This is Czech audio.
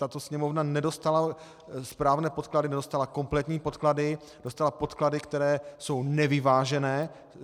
Tato sněmovna nedostala správné podklady, nedostala kompletní podklady, dostala podklady, které jsou nevyvážené.